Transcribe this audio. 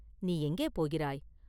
நீ எங்கே போகிறாய்?